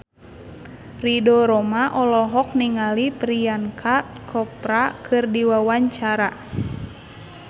Ridho Roma olohok ningali Priyanka Chopra keur diwawancara